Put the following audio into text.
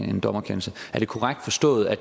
en dommerkendelse er det korrekt forstået at